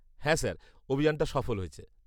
হ্যাঁ স্যার, অভিযানটা সফল হয়েছে।